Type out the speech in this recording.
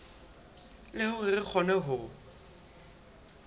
le hore re kgone ho